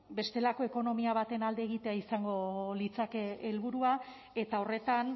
bestelako ekonomia baten alde egitea izango litzateke helburua eta horretan